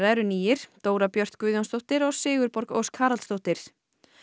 eru nýir Dóra Björt Guðjónsdóttir og Sigurborg Ósk Haraldsdóttir